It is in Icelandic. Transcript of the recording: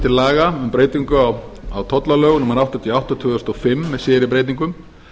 laga um breytingu á tollalögum númer áttatíu og átta tvö þúsund og fimm með síðari breytingum